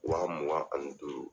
Wa mugun ani duuru